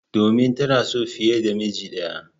Domin tana son fiye da miji ɗaya.